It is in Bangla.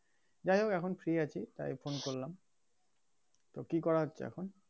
যাই হোক এখন free আছি তাই phone করলাম তো কী করা হচ্ছে এখন?